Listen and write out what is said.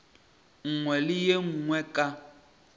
nngwe le ye nngwe ka